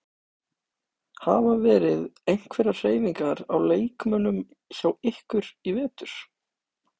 Hafa verið einhverjar hreyfingar á leikmönnum hjá ykkur í vetur?